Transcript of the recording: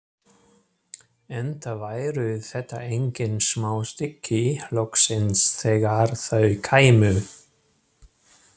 Enda væru þetta engin smá stykki, loksins þegar þau kæmu.